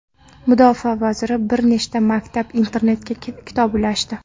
Mudofaa vaziri bir nechta maktab-internatga kitob ulashdi .